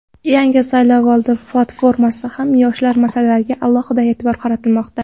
Yangi saylovoldi platformada ham yoshlar masalasiga alohida e’tibor qaratilmoqda.